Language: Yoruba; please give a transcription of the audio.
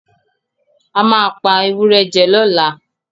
A máa pa ewúrẹ́ jẹ lọ́làá.